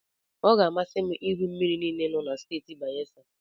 Ọ ga-amasị m ịhụ mmiri niile nọ na Steeti Bayesa.